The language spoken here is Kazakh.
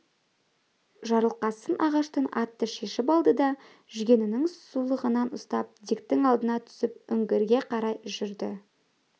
жарылқасын ағаштан атты шешіп алды да жүгенінің сулығынан ұстап диктің алдына түсіп үңгірге қарай жүрді